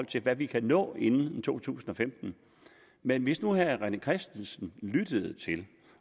til hvad vi kan nå inden to tusind og femten men hvis nu herre rené christensen lyttede